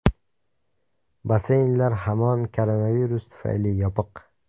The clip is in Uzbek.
Basseynlar hamon koronavirus tufayli yopiq.